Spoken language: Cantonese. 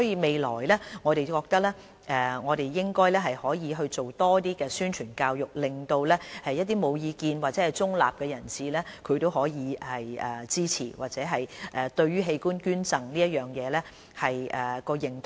未來我們應該多做宣傳教育，令到無意見或中立的人士支持，或提高對於器官捐贈的認同。